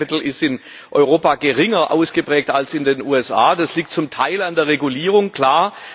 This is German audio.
Venture capital ist in Europa geringer ausgeprägt als in den USA. Das liegt zum Teil an der Regulierung, klar.